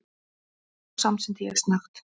Já, samsinni ég snöggt.